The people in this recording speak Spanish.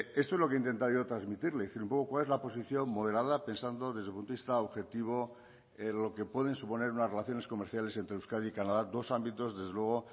esto es lo que he intentado yo trasmitirle y cuál es la posiciones moderada pensando desde un punto de vista objetivo en lo que pueden suponer unas relaciones comerciales entre euskadi canadá dos ámbitos desde luego